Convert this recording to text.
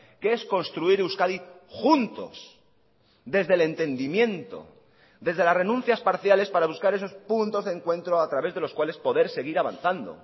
que es construir euskadi juntos desde el entendimiento desde las renuncias parciales para buscar esos puntos de encuentro a través de los cuales poder seguir avanzando